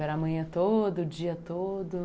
Era amanhã todo, o dia todo?